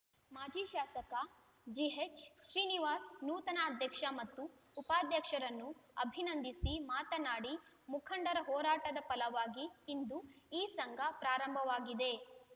ಮಾಜಿ ಶಾಸಕ ಜಿಎಚ್‌ ಶ್ರೀನಿವಾಸ್‌ ನೂತನ ಅಧ್ಯಕ್ಷ ಮತ್ತು ಉಪಾಧ್ಯಕ್ಷರನ್ನು ಅಭಿನಂದಿಸಿ ಮಾತನಾಡಿ ಮುಖಂಡರ ಹೋರಾಟದ ಫಲವಾಗಿ ಇಂದು ಈ ಸಂಘ ಪ್ರಾರಂಭವಾಗಿದೆ